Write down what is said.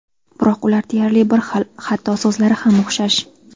Biroq ular deyarli bir xil, hatto so‘zlari ham o‘xshash.